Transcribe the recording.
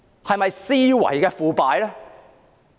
是否思維的腐敗？